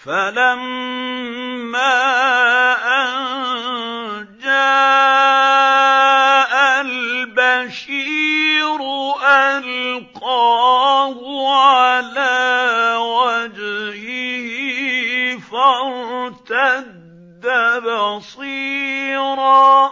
فَلَمَّا أَن جَاءَ الْبَشِيرُ أَلْقَاهُ عَلَىٰ وَجْهِهِ فَارْتَدَّ بَصِيرًا ۖ